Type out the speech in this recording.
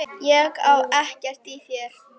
Ég á ekkert í þér!